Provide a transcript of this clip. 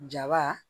Jaba